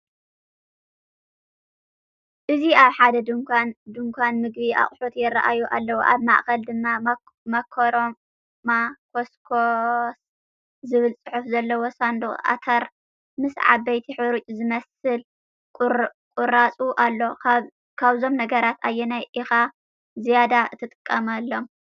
ኣብዚ ኣብ ሓደ ድኳን ምግቢ፡ ኣቑሑትይራኣዩ ኣለዉ። ኣብ ማእከል ድማ "ማካሮማ ኮስኮስ" ዝብል ጽሑፍ ዘለዎ ሳንዱቕ ኣተር ምስ ዓበይቲ ሕሩጭ ዝመስል ቁራጽ ኣሎ። ካብዞም ነገራት ኣየናይ ኢኻ ዝያዳ እትጥቀመሉ?